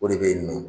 O de bɛ yen nɔ